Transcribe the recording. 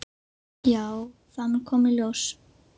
Já, það mun koma í ljós.